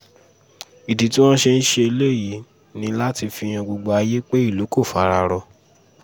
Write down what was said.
ìdí tí wọ́n ṣe ń ṣèléyìí ni láti fi han gbogbo ayé pé ìlú kò fara rọ